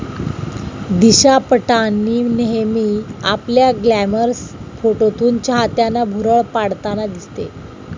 दिशा पटानी नेहमी आपल्या ग्लॅमरस फोटोतून चाहत्यांना भुरळ पाडताना दिसते.